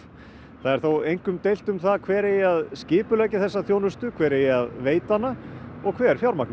það er þó einkum deilt um það hver eigi að skipuleggja þessa þjónustu hver eigi að veita hana og hver fjármagni